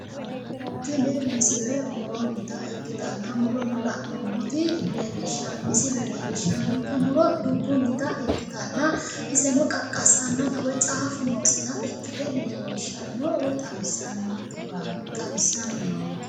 Tini misile mu'ronnita ikkitanna mu'rono la'nummoti misile leellishshannonke mu'ro dubbunnita ikkitanna iseno qaqqassannota caafu noota ikkite xawissannonkehuraati woy ikkitinohuraati